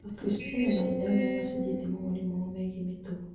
Akristiano na Aithĩramu nĩ macenjetie mawoni mao megiĩ mĩtugo